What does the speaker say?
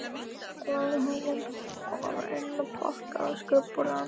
Ég lagði hana bara innpakkaða á skrifborðið hans.